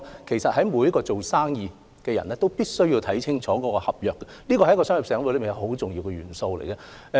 其實每位做生意的人均須看清楚合約，這是商業活動的一個很重要元素。